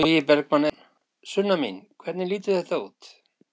Logi Bergmann Eiðsson: Sunna mín, hvernig lítur þetta út?